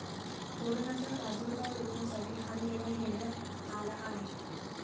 कोरोनाचा प्रादुर्भाव रोखण्यासाठी हा निर्णय घेण्यात आला आहे.